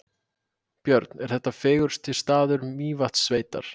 Björn: Er þetta fegursti staður Mývatnssveitar?